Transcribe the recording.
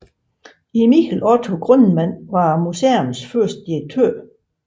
Emil Otto Grundmann var museets første direktør